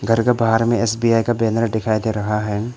घर के बाहर में एस_बी_आई का बैनर दिखाई दे रहा है।